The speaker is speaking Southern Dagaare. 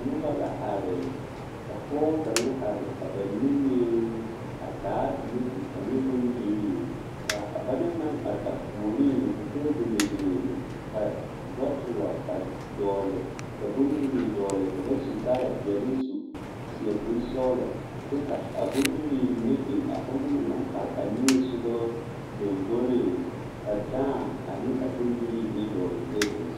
Nobɔ la are ka pɔɔ kaŋa are a ba niŋeŋ a taa pilati ane bondirii kaa a ba naŋ naŋ are a puoriŋ ka tabolɔ biŋ ka bɔtulɔ a dɔgle ka bondirii dɔgle ka ba su kaayɛ peɛle su seɛ kurisɔglɔ kyɛ ka a bondirii mine biŋ a onɔŋ na naŋ are a niŋesugɔ lomboreŋ ka dãã ane a bondirii mine dɔgle tabol zu.